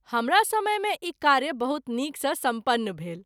हमरा समय मे ई कार्य बहुत नीक सँ सम्पन्न भेल।